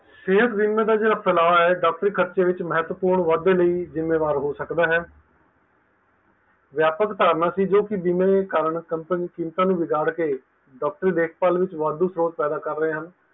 ਸੇਹਤ ਬੀਮੇ ਦੇ ਜੇਹੜਾ ਫੈਲਾਲਵਾ ਹੈਂ, ਡਾਕਟਰੀ ਖਰਚੇ ਵਿਚ ਮਹੱਤਵਪੂਰਨ ਵਾਧੇ ਲਈ ਜਿੰਮੇਵਾਰ ਹੋ ਸਕਦਾ ਹੈ, ਵਿਆਪਕ ਧਾਰਨਾ ਸੀ ਜੋ ਕਿ ਬੀਮੇ ਦੇ ਕਾਰਨ ਕੀਮਤਾਂ ਨੂੰ ਬਿਗਾੜ ਕੇ ਡਾਕਟਰੀ ਦੇਖਭਾਲ ਵਿਚ ਵਾਧੂ ਜ਼ੋਰ ਪੈਦਾ ਕਰ ਰਹੇ ਹਨ